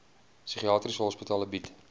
psigiatriese hospitale bied